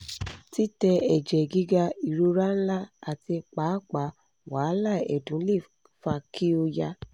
titẹ ẹjẹ giga irora nla ati paapaa wahala ẹdun le fa ki o ya